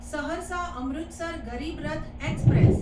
Saharsa Amritsar Garib Rath express